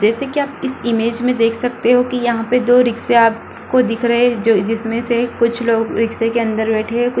जैसे कि आप इस इमेज में देख सकते हो की यहाँ पे दो रिक्शा आप को दिख रहे हैं जिसमें से कुछ लोग रिक्शा के अन्दर बैठे हैं कुछ --